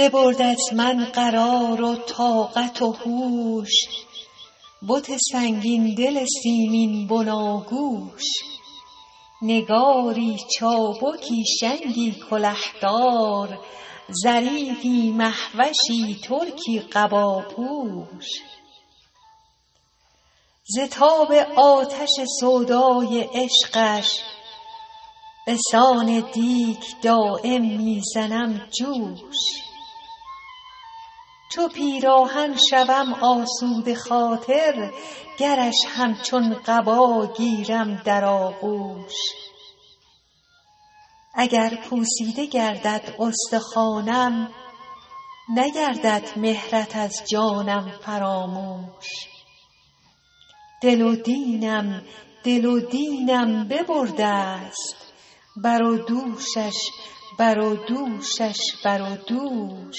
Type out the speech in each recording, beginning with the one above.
ببرد از من قرار و طاقت و هوش بت سنگین دل سیمین بناگوش نگاری چابکی شنگی کله دار ظریفی مه وشی ترکی قباپوش ز تاب آتش سودای عشقش به سان دیگ دایم می زنم جوش چو پیراهن شوم آسوده خاطر گرش همچون قبا گیرم در آغوش اگر پوسیده گردد استخوانم نگردد مهرت از جانم فراموش دل و دینم دل و دینم ببرده ست بر و دوشش بر و دوشش بر و دوش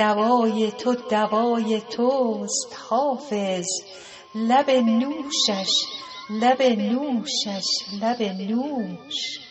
دوای تو دوای توست حافظ لب نوشش لب نوشش لب نوش